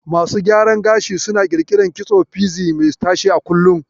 Masu gyaran gashi suna ƙirƙirar kitson fizi mai tashe a kullum